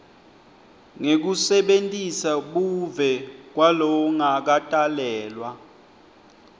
ngekusebentisa buve kwalongakatalelwa